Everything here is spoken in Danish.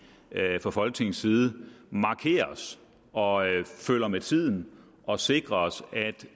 fra folketingets side markerer os og følger med tiden og sikrer os at